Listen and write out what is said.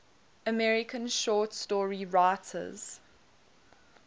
american short story writers